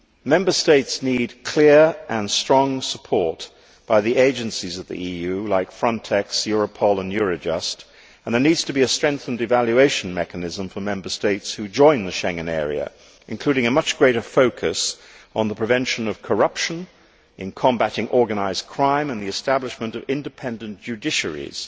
Member States need clear and strong support from the agencies of the EU like Frontex, Europol and Eurojust and there needs to be a strengthened evaluation mechanism for Member States who join the Schengen area, including a much greater focus on the prevention of corruption, the combating of organised crime and the establishment of independent judiciaries.